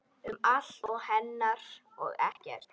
Um allt hennar og ekkert.